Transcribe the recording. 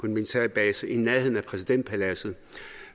en militær base i nærheden af præsidentpaladset